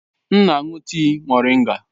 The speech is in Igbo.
M na-aṅụ tii moringa.